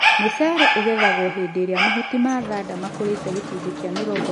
mũcere ũgethagwo hĩndĩ ĩria mahuti ma thanda makũrĩte gĩcunjĩ kĩa mĩrongo ĩnana harĩ igana.